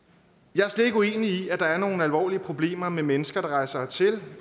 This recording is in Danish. jeg er slet ikke uenig i at der er nogle alvorlige problemer med mennesker der rejser hertil